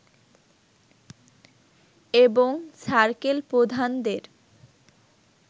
এবং সার্কেল প্রধানদের